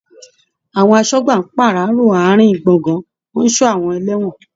Àwọn aṣọ́gbà ń pàráàro àárín in gbọ̀ngàn, wọ́n ń ṣọ́ àwọn ẹlẹ́wọ̀n.